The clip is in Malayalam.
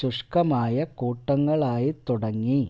ശുഷ്ക്കമായ കൂട്ടങ്ങളായിത്തുടങ്ങി